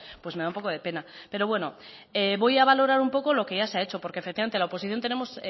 pues me da un poco de pena pero bueno voy a valorar un poco lo que ya se ha hecho porque efectivamente la oposición